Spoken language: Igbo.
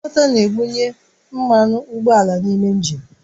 Injektọ na-ebunye mmanụ ụgbọala n'ime injin